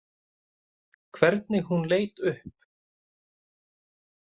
Hvernig hún leit upp.